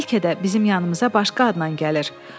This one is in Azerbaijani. Bəlkə də bizim yanımıza başqa adnan gəlir.